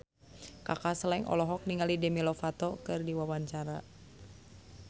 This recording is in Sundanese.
Kaka Slank olohok ningali Demi Lovato keur diwawancara